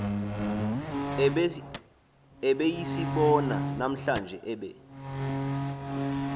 ebesiyibona namhlanje ebe